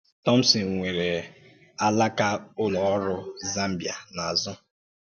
Thomson nwere alákà Ụ́lọ Ọrụ Zambia n’azụ̀.